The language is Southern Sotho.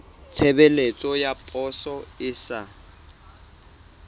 tshebeletso ya poso e sa